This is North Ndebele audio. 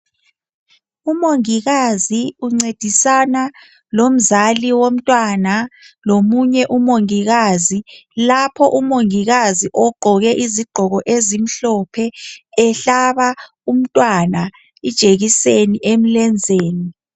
Umongikazi uncedisana lomzali womntwana lomunye umongikazi lapho umongikazi ogqoke izigqoko ezimhlophe ehlaba umntwana ijekiseni emlenzeni